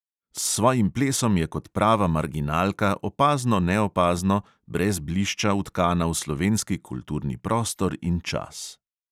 S svojim plesom je kot prava marginalka, opazno-neopazno, brez blišča vtkana v slovenski kulturni prostor in čas.